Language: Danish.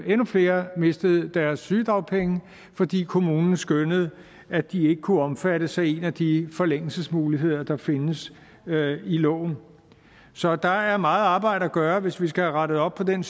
endnu flere mistede deres sygedagpenge fordi kommunen skønnede at de ikke kunne omfattes af en af de forlængelsesmuligheder der findes i loven så der er meget arbejde at gøre hvis vi skal have rettet op på den